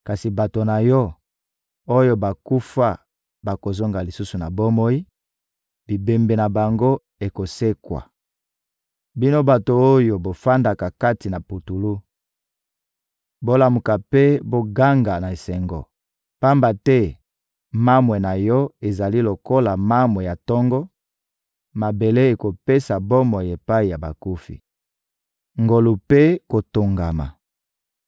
Kasi bato na Yo, oyo bakufa bakozonga lisusu na bomoi, bibembe na bango ekosekwa. Bino bato oyo bovandaka kati na putulu, bolamuka mpe boganga na esengo! Pamba te mamwe na Yo ezali lokola mamwe ya tongo; mabele ekopesa bomoi epai ya bakufi. Ngolu mpe kotongama